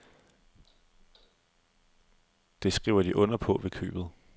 Det skriver de under på ved købet.